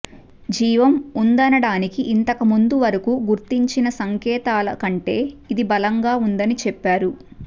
జీవం ఉందనడానికి ఇంతకుముందు వరకూ గుర్తించిన సంకేతాల కంటే ఇది బలంగా ఉందని చెప్పారు